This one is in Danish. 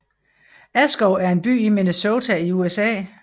Askov er en by i Minnesota i USA